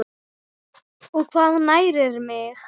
og Hvað nærir mig?